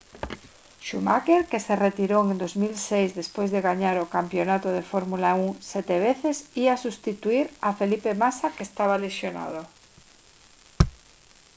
schumacher que se retirou en 2006 despois de gañar o campionato de fórmula 1 sete veces ía substituír a felipe massa que estaba lesionado